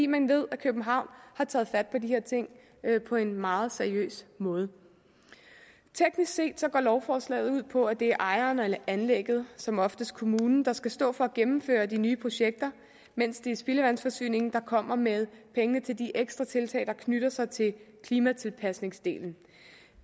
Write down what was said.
man ved at københavn har taget fat på de her ting på en meget seriøs måde teknisk set går lovforslaget ud på at det er ejeren af anlægget som oftest kommunen der skal stå for at gennemføre de nye projekter mens det er spildevandsforsyningen der kommer med pengene til de ekstra tiltag der knytter sig til klimatilpasningsdelen